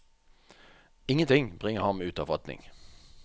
Ingenting bringer ham ut av fatning.